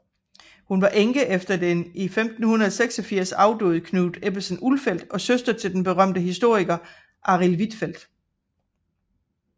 Hun var enke efter den i 1586 afdøde Knut Ebbesen Ulfeldt og søster til den berømte historiker Arild Hvitfeldt